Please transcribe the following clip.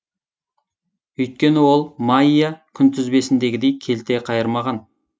өйткені ол майя күнтізбесіндегідей келте қайырмаған